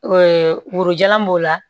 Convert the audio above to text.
woro jalan b'o la